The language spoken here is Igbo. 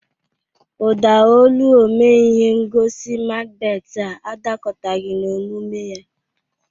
Ụda olu omee ihe ngosi Makbet a adakọtaghị n'omume ya.